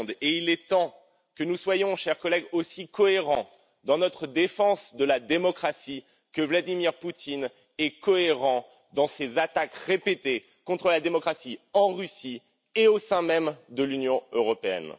Il est temps que nous soyons, chers collègues, aussi cohérents dans notre défense de la démocratie que Vladimir Poutine est cohérent dans ses attaques répétées contre la démocratie en Russie et au sein même de l'Union européenne.